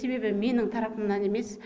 себебі менің тарапымнан емес